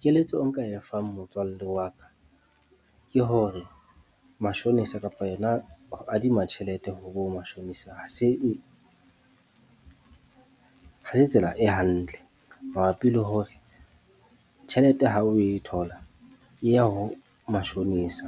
Keletso nka e fang motswallle wa ka, ke hore mashonisa kapa yona ho adima tjhelete ho bo mashonisa. Ha se ha se tsela e hantle mabapi le hore tjhelete ha oe thola e ya ho mashonisa,